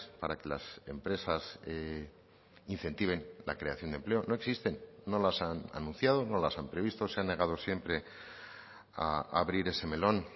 para que las empresas incentiven la creación de empleo no existen no las han anunciado no las han previsto se han negado siempre a abrir ese melón